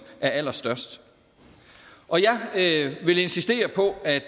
er allerstørst jeg vil insistere på at